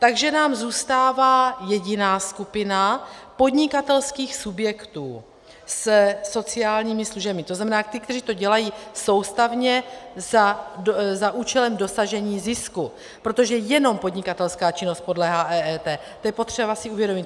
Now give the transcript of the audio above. Takže nám zůstává jediná skupina podnikatelských subjektů se sociálními službami, to znamená ti, kteří to dělají soustavně za účelem dosažení zisku, protože jenom podnikatelská činnost podléhá EET, to je potřeba si uvědomit.